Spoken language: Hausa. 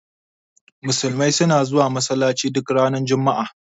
Musulmai suna zuwa Masallaci duk ranar juma'a.